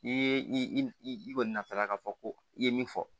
N'i ye i kɔni nata la ka fɔ ko i ye min fɔ